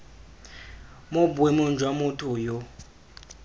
mo boemong jwa motho yo